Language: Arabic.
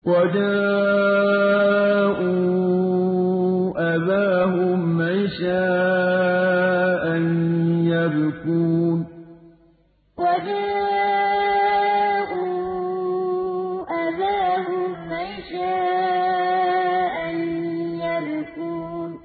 وَجَاءُوا أَبَاهُمْ عِشَاءً يَبْكُونَ وَجَاءُوا أَبَاهُمْ عِشَاءً يَبْكُونَ